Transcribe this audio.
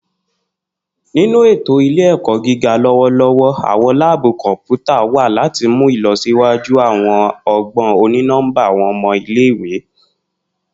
Ninu eto ile-ẹkọ giga lọwọlọwọ, awọn laabu kọnputa wa lati mu ilọsiwaju awọn ọgbọn oni-nọmba awọn ọmọ ile-iwe.